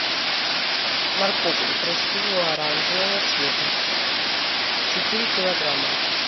морковку красивую оранжевого цвета четыре килограмма